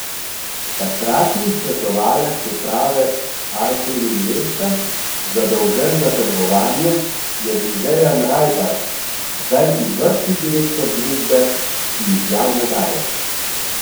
Takratni svetovalec uprave Alpen Investa, zadolžen za trgovanje, je bil Dejan Rajbar, zdaj izvršni direktor družbe, ki izjav ne daje.